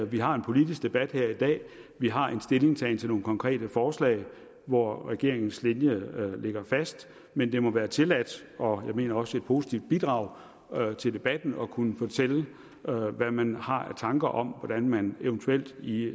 vi har en politisk debat her i dag at vi har en stillingtagen til nogle konkrete forslag hvor regeringens linje ligger fast men det må være tilladt og jeg mener også et positivt bidrag til debatten at kunne fortælle hvad man har af tanker om hvordan man eventuelt i